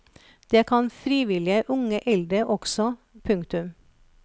Det kan frivillige unge eldre også. punktum